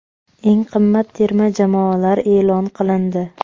Eng qimmat terma jamoalar e’lon qilindi.